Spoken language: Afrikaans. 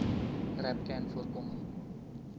rapcanvoorkoming